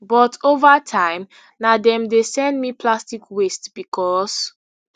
but ova time na dem dey send me plastic waste becos